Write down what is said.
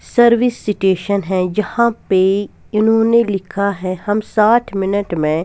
Service station है जहां पे इन्होंने लिखा है हम साठ मिनट में.